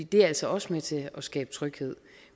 det er altså også med til at skabe tryghed